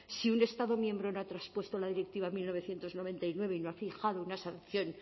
si un estado miembro no ha traspuesto la directiva mil novecientos noventa y nueve y no ha fijado una sanción